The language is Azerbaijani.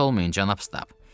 Narahat olmayın cənab Stab.